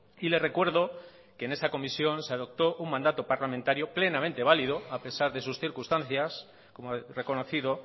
y le recuerdo que en esa comisión se adoptó un mandato parlamentario plenamente válido a pesar de sus circunstancias como reconocido